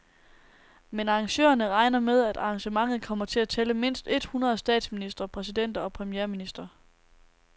Men arrangørerne regner med, at arrangementet kommer til at tælle mindst et hundrede statsministre, præsidenter og premierministre.